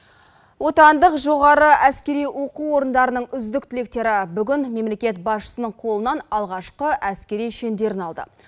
отандық жоғары әскери оқу орындарының үздік түлектері бүгін мемлекет басшысының қолынан алғашқы әскери шендерін алды